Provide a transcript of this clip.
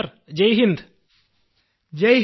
sir Jai Hind ്യു